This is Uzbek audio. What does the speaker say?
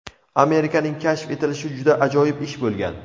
Amerikaning kashf etilishi juda ajoyib ish bo‘lgan.